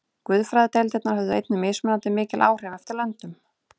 Guðfræðideildirnar höfðu einnig mismunandi mikil áhrif eftir löndum.